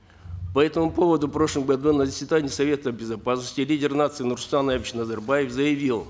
по этому поводу в прошлом году на заседании совета безопасности лидер нации нурсултан абишевич назарбаев заявил